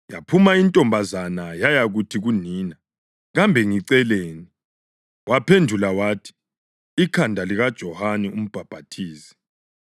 Yaphuma intombazana yayakuthi kunina, “Kambe ngiceleni?” Waphendula wathi, “Ikhanda likaJohane uMbhaphathizi.”